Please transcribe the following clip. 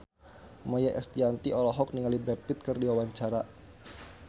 Maia Estianty olohok ningali Brad Pitt keur diwawancara